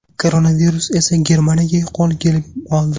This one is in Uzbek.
Koronavirus esa Germaniyaga qo‘l kelib qoldi.